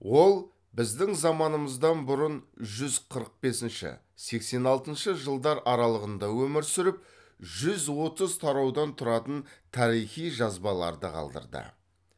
ол біздің заманымыздан бұрын жүз қырық бесінші сексен алтыншы жылдар аралығында өмір сүріп жүз отыз тараудан тұратын тарихи жазбаларды қалдырды